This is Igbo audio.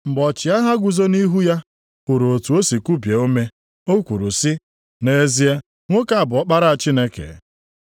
Mgbe ọchịagha guzo nʼihu ya, hụrụ otu o si kubie ume, o kwuru sị, “Nʼezie, nwoke a bụ Ọkpara Chineke.”